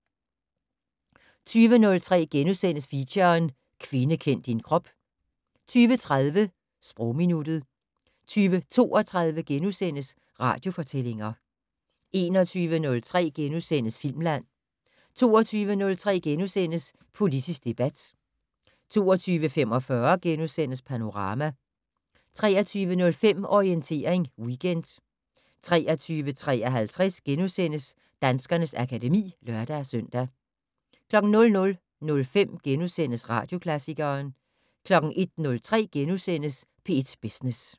20:03: Feature: Kvinde kend din krop * 20:30: Sprogminuttet 20:32: Radiofortællinger * 21:03: Filmland * 22:03: Politisk debat * 22:45: Panorama * 23:05: Orientering Weekend 23:53: Danskernes akademi *(lør-søn) 00:05: Radioklassikeren * 01:03: P1 Business *